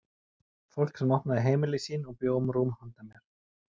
Fólk sem opnaði heimili sín og bjó um rúm handa mér.